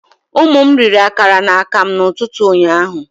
Ụmụ m riri akara na akamụ n'ụtụtụ ụnyaahụ